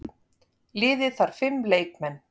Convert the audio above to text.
Liðið þarf fimm leikmenn.